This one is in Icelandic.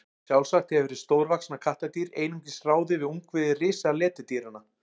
sjálfsagt hefur hið stórvaxna kattardýr einungis ráðið við ungviði risaletidýranna